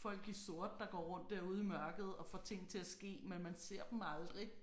folk i sort der går rundt derude i mørket og får ting til at ske men man ser dem aldrig